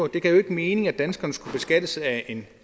det gav jo ikke mening at danskerne skulle beskattes af en